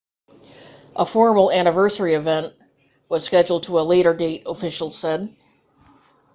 a formal anniversary event was scheduled for a later date officials said